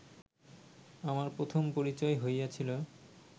আমার প্রথম পরিচয় হইয়াছিল